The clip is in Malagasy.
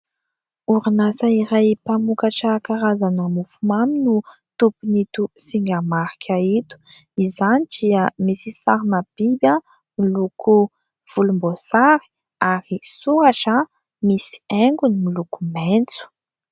Orinasa iray mpamokatra karazana mofomamy no tompon' ito singa marika ito, izany dia misy sarina biby miloko volom-boasary ary soratra misy haingony miloko maitso.